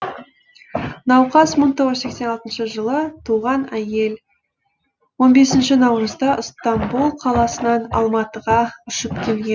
науқас бір мың тоғыз жүз сексен алтыншы жылы туған әйел он бесінші наурызда ыстамбұл қаласынан алматыға ұшып келген